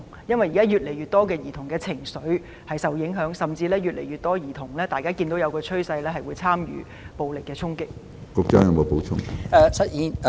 因為現時有越來越多兒童的情緒受到影響，大家亦看到一個趨勢，有越來越多兒童參與暴力衝擊。